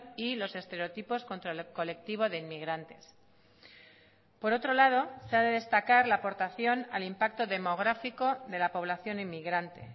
y los estereotipos contra el colectivo de inmigrantes por otro lado se ha de destacar la aportación al impacto demográfico de la población inmigrante